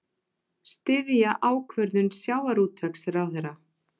Styðja ákvörðun sjávarútvegsráðherra